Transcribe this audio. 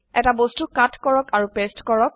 এটা বস্তু কাট কৰক আৰু পেস্ট কৰক